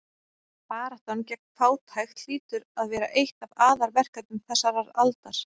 Baráttan gegn fátækt hlýtur að vera eitt af aðalverkefnum þessarar aldar.